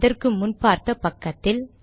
இதற்கு முன் பார்த்த பக்கத்தில்